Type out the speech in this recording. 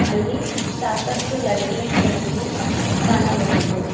ಅಲ್ಲಿ ಸಾಕಷ್ಟು ಲೈಟಿಂಗ್ಸ್ ಗಳನ್ನು ಕಾಣಬಹುದು.